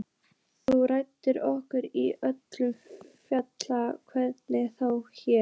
Þú lætur okkur í öllu falli heyra frá þér.